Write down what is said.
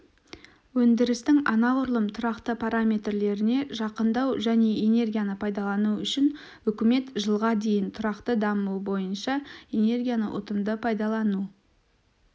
өндірістің анағұрлым тұрақты параметрлеріне жақындау және энергияны пайдалану үшін үкімет жылға дейін тұрақты даму бойынша энергияны ұтымды пайдалану